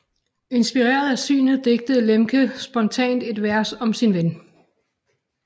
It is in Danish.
Inspireret af synet digtede Lemche spontant et vers om sin ven